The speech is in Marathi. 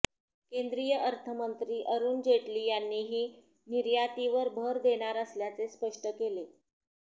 केंद्रीय अर्थमंत्री अरुण जेटली यांनी ही निर्यातीवर भर देणार असल्याचे स्पष्ट केले